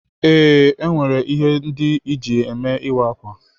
Ee, enwere ihe ndị eji eme ịwa ákwà.